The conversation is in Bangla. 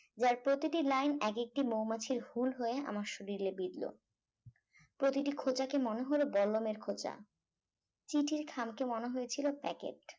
যার প্রতিটি line এক একটি মৌমাছির হুল হয়ে আমার শরীরে বিধল প্রতি খোঁচাকে মনে হল বল্লমের খোঁচা চিঠির খামকে মনে হয়েছিল packet